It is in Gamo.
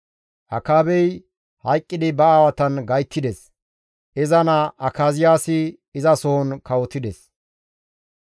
Akaabey hayqqidi ba aawatan gayttides; iza naa Akaziyaasi izasohon kawotides.